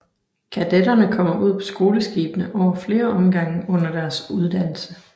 Kadetterne kommer ud på skoleskibene over flere omgange under deres uddannelse